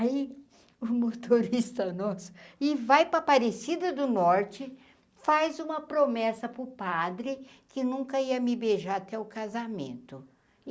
Aí o motorista, nossa, e vai para a parecida do norte, faz uma promessa para o padre que nunca ia me beijar até o casamento.